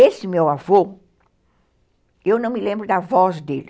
Esse meu avô, eu não me lembro da voz dele.